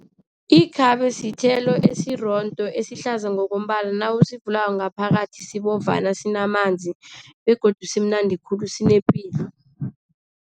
Ikhabe sithelo esirondo, esihlaza ngokombala. Nawusivulako ngaphakathi sibovana, sinamanzi begodu simnandi khulu sinepilo.